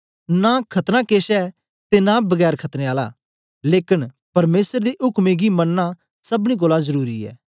नां खतना केछ ऐ ते नां बिना खतने आला लेकन परमेसर दे उक्में गी मननां सबनी कोल जरुरी ऐ